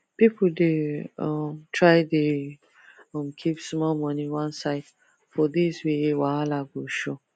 people dey um try dey um keep small money one side for days wey wahala go show